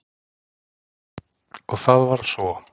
Og það varð svo.